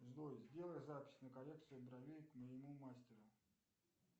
джой сделай запись на коррекцию бровей к моему мастеру